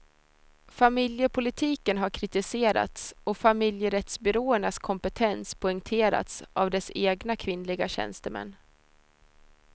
Familjepolitiken har kritiserats och familjerättsbyråernas kompetens poängterats av dess egna kvinnliga tjänstemän.